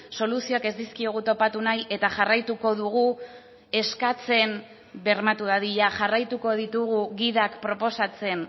soluzioak ez dizkiogu topatu nahi eta jarraituko dugu eskatzen bermatu dadila jarraituko ditugu gidak proposatzen